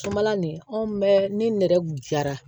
Sobala nin anw bɛɛ ni nɛrɛ gɛrɛ